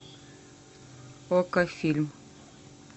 окко фильм